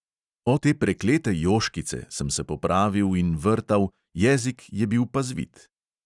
O te preklete joškice, sem se popravil in vrtal, jezik je bil pa zvit.